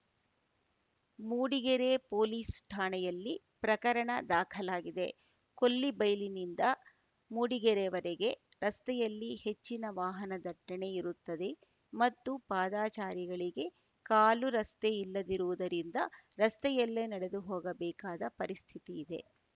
Mudigere police ಠಾಣೆಯಲ್ಲಿ ಪ್ರಕರಣ ದಾಖಲಾಗಿದೆ ಕೊಲ್ಲಿಬೈಲಿನಿಂದ ಮೂಡಿಗೆರೆವರೆಗೆ ರಸ್ತೆಯಲ್ಲಿ ಹೆಚ್ಚಿನ ವಾಹನ ದಟ್ಟಣೆ ಇರುತ್ತದೆ ಮತ್ತು ಪಾದಾಚಾರಿಗಳಿಗೆ ಕಾಲು ರಸ್ತೆ ಇಲ್ಲದಿರುವುದರಿಂದ ರಸ್ತೆಯಲ್ಲೇ ನಡೆದುಹೋಗಬೇಕಾದ ಪರಿಸ್ಥಿತಿಯಿದೆ